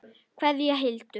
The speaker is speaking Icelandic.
Kveðja, Hildur.